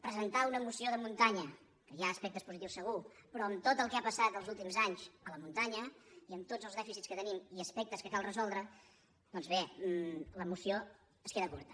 presentar una moció de muntanya que hi ha aspectes positius segur però amb tot el que ha passat els últims anys a la muntanya i amb tots els dèficits que tenim i aspectes que cal resoldre doncs bé la moció es queda curta